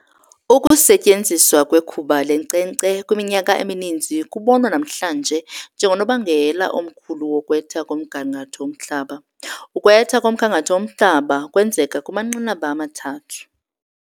Ukusetyenziswa kwekhuba lenkcenkce kwiminyaka emininzi kubonwa namhlanje njengonobangela omkhulu wokwetha komgangatho womhlaba. Ukwetha komgangatho womhlaba kwenzeka kumanqanaba amathathu.